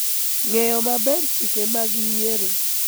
ng�eyo maber chike mag yiero